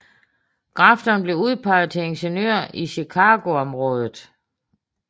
Grafton blev udpeget til ingeniør i Chicago området